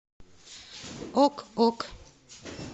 ок ок